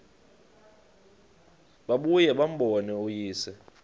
babuye bambone uyise